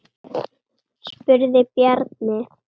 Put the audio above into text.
spurði Bjarni.